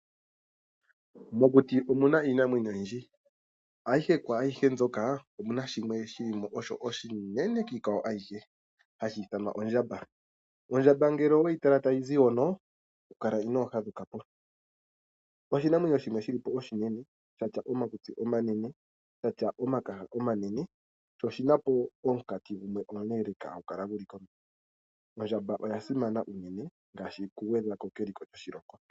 Mokuti omuna iinamwenyo oyindji ashike omuna shimwe shoka oshinene shivule iinamwenyo iikwawo, hashi ithanwa ondjamba. Ondjamba ngele oweyitala tayizi hono kukala inoohadhukapo, oshinamwenyo shimwe shili po oshinene shatya omakutsi omanene, shatya omakaha omanene noshina omunkati omuleeleleka. Ondjamba oyasimana oshoka ohayi gwedhako keliko lyoshilongo.